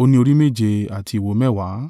ó ní orí méje àti ìwo mẹ́wàá.